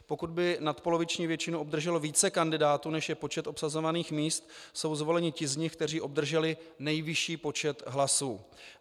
Pokud by nadpoloviční většinu obdrželo více kandidátů, než je počet obsazovaných míst, jsou zvoleni ti z nich, kteří obdrželi nejvyšší počet hlasů.